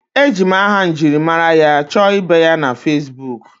Eji m aha njirimara ya chọọ ibe ya na Facibuku